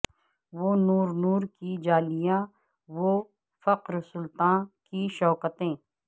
وہ نور نور کی جالیاں و فقر سلطاں کی شوکتیں